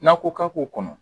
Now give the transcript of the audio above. N'a ko k'a b'o kɔnɔ